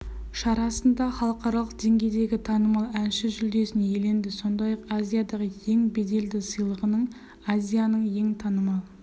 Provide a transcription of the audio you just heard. шарасында халықаралық деңгейдегі танымал әнші жүлдесін иеленді сондай-ақ азиядағы ең беделді сыйлығының азияның ең танымал